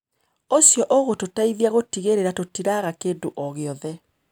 ũcio ũgũtũteithia gũtigĩrĩra tũtiraga kĩndũ o gĩothe.